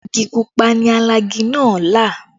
Igi pupa ni alagi náà là